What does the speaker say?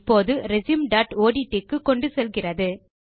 இப்போது resumeஒட்ட் க்கு கொண்டு செல்கிறது